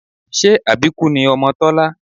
Ṣé àbíkú ni ọmọ Tọ́lá?